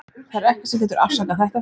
Það er ekkert sem getur afsakað þetta.